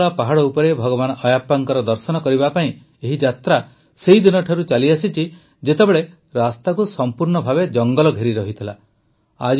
ସାବରିମାଳା ପାହାଡ଼ ଉପରେ ଭଗବାନ ଆୟାପ୍ପାଙ୍କ ଦର୍ଶନ କରିବା ପାଇଁ ଏହି ଯାତ୍ରା ସେହିଦିନଠାରୁ ଚାଲିଆସିଛି ଯେତେବେଳେ ରାସ୍ତାକୁ ସଂପୂର୍ଣ୍ଣ ଭାବେ ଜଂଗଲ ଘେରି ରହିଥିଲା